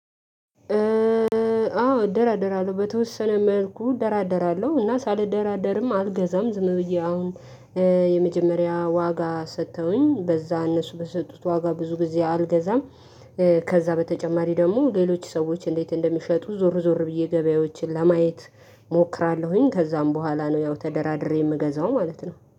አዎ እደራደራለሁ በተወሰነ መልኩ እደራደራለሁ እና ሳልደራደርም አልገዛም ዝም ብዬ አሁን የመጀመሪያ ዋጋ ሰጥተውኝ በዛ እነሱ በሰጡት ዋጋ ብዙ ጊዜ አልገዛም። ከዛ በተጨማሪ ደግሞ ሌሎች ሰዎች እንዴት እንደሚሸጡ ዞር ዞር ብዬ ገበያዎችን ለማየት። እሞክራለሁኝ ከዛን በኋላ ነው ያው ተደራድሬ የምገዛው ማለት ነው